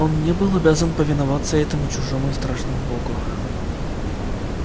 он не был обязан повиноваться этому чужому и страшному богу